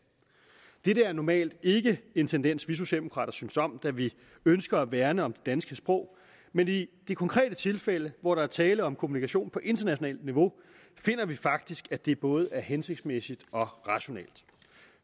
dette er normalt ikke en tendens som vi socialdemokrater synes om da vi ønsker at værne om det danske sprog men i det konkrete tilfælde hvor der er tale om kommunikation på internationalt niveau finder vi faktisk at det både er hensigtsmæssigt og rationelt